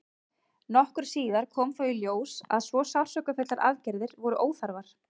nokkru síðar kom þó í ljós að svo sársaukafullar aðgerðir voru óþarfar